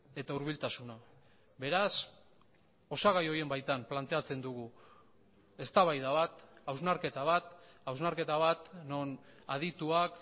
eta hurbiltasuna beraz osagai horien baitan planteatzen dugu eztabaida bat hausnarketa bat hausnarketa bat non adituak